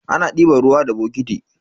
Ana diban ruwa da bokiti.